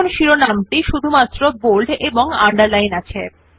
এখন শিরোনাম টি বোল্ড এবং underline ও আছে